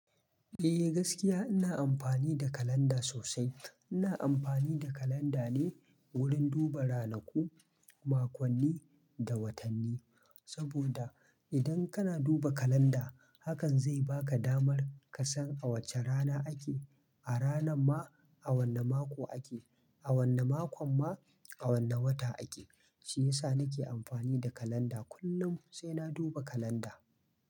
Eh gaskiya ina amfani da kalanda sosai. Ina amfani da kalanda ne wurin duba ranaku, makonni da watanni. Saboda idan kana duba kalanda hakan zai baka damar ka san a wace rana ake, a rana ma a wane mako ake, a wane makon ma a wane wata ake. Shi yasa nake amfani da kalanda. Kullum sai na duba kalanda.